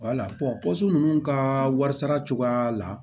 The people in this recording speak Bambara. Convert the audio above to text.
wala ninnu ka wari sara cogoya la